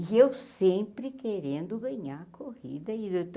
E eu sempre querendo ganhar a corrida.